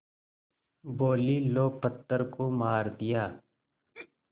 बोलीं लो पत्थर को मार दिया